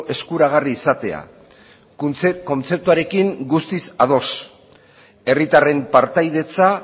eskuragarri izatea kontzeptuarekin guztiz ados herritarren partaidetza